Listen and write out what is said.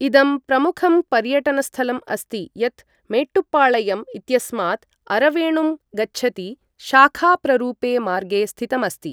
इदं प्रमुखं पर्यटनस्थलम् अस्ति यत् मेट्टुपाळयम् इत्यस्मात् अरवेणुं गच्छति शाखाप्ररूपे मार्गे स्थितम् अस्ति।